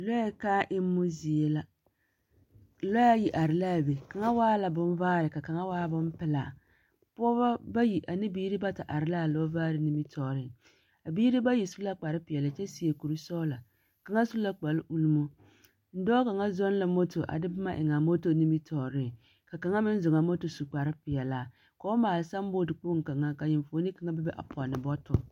Lɔɛ kᾱᾱ emmo zie la. Lɔɛ ayi are laa be, kaŋa waa la bonvaare ka kaŋa waa bomprlaa. Pɔgebɔ bayi ane biiri bata are laa lɔɔre nimmitɔɔreŋ. A biiri bayi su la kparre peɛle kyɛ seɛ kuri sɔglɔ. Kaŋa su la kparre ulmo. Dɔɔ kaŋa zɔɔŋ la moto kyɛ de boma eŋ a moto nimmitɔɔreŋ, ka kaŋa meŋ zɔŋaa moto su kparre peɛlaa, ka ba maale sign board kpoŋ kaŋa, ka enfuoni be be a pɔnne bɔ…